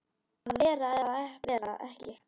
Að vera eða vera ekki.